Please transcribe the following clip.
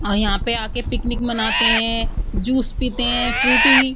और यहाँ पर आके पिकनिक मनाते हैं जूस पीते हैं। फ्रूटी --